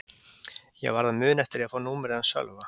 Ég varð að muna eftir því að fá númerið hans Sölva.